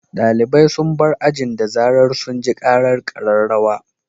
Dalibai sun bar ajin da zarar sun ji karar kararrawa.